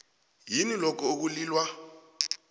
yini lokho ekulilwa